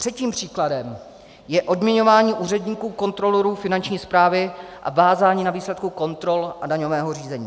Třetím příkladem je odměňování úředníků, kontrolorů Finanční správy, a vázání na výsledku kontrol a daňového řízení.